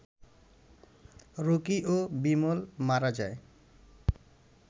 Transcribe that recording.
Rocky ও বিমল মারা যায়